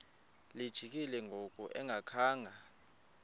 lijikile ngoku engakhanga